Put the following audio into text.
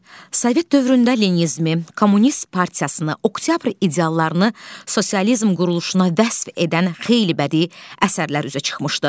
Sovet dövründə Leninizmi, Kommunist partiyasını, oktyabr ideallarını, sosializm quruluşuna vəsf edən xeyli bədii əsərlər üzə çıxmışdı.